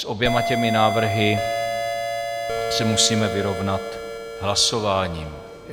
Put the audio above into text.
S oběma těmi návrhy se musíme vyrovnat hlasováním.